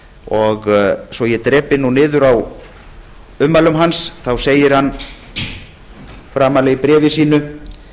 og svo ég drepi nú niður í ummælum hans segir hann framarlega í bréfi sínu